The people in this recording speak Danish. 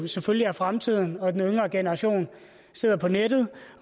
selvfølgelig er fremtiden de yngre generationer er på nettet